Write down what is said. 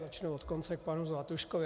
Začnu od konce k panu Zlatuškovi.